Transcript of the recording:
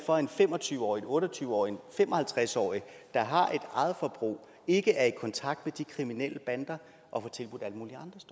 for at en fem og tyve årig en otte og tyve årig en fem og halvtreds årig der har et eget forbrug ikke er i kontakt med de kriminelle bander